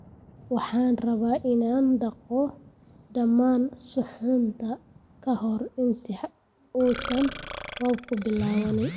Waxaan rabaa in aan dhaqo dhammaan suxuunta ka hor inta uusan roobku bilaabin